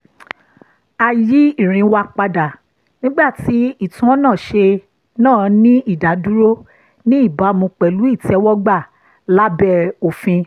a yí ìrìn wa padà nígbà tí ìtúnọ̀nàṣe náà ní ìdádúró ní ìbámu pẹ̀lú ìtẹ́wọ́gbà lábẹ́ òfin